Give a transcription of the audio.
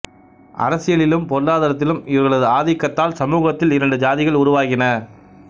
அரசியலிலும் பொருளாதாரத்திலும் இவர்களது ஆதிக்கத்தால் சமூகத்தில் இரண்டு சாதிகள் உருவாகின